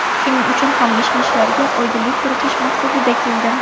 Shuning uchun ham mish-mishlarga oydinlik kiritish maqsadida keldim.